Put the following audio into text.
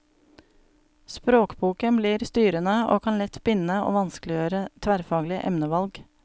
Språkboken blir styrende og kan lett binde og vanskeliggjøre tverrfaglige emnevalg.